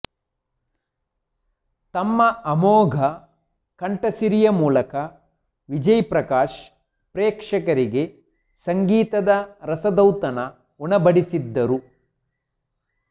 ತಮ್ಮ ಅಮೋಘ ಕಂಠಸಿರಿಯ ಮೂಲಕ ವಿಜಯ್ ಪ್ರಕಾಶ್ ಪ್ರೇಕ್ಷಕರಿಗೆ ಸಂಗೀತದ ರಸದೌತಣ ಉಣಬಡಿಸಿದ್ದರು